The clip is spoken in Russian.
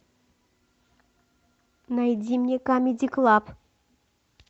найди мне камеди клаб